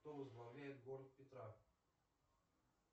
кто возглавляет город петра